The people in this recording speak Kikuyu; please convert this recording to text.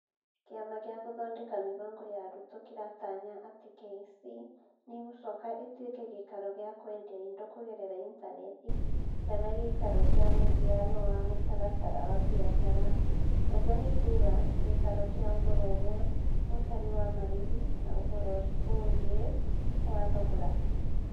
Kĩama gĩa Gũthondeka Mĩbango ya Arutwo kĩratanya atĩ KEC nĩ ĩgũcoka ĩtuĩke gĩikaro gĩa kwendia indo kũgerera intaneti kana gĩikaro kĩa mũhiano wa mũtaratara wa biacara -ũguo nĩ kuuga, gĩikaro kĩa ũhoro umwe ũtarĩ wa marĩhi na ũhoro ungĩ wa thogora.